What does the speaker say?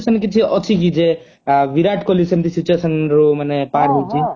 ସେମିତି situation କିଛି ଅଛିକି ଯେ ବିରାଟ କୋହଲୀ ସେମିତି situation ରୁ ମାନେ ପାରହଉଛି